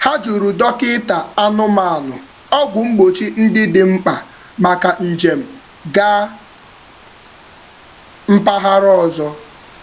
Ha jụrụ dọkịta anụmanụ ọgwụ mgbochi ndị dị mkpa maka njem gaa mpaghara ọzọ.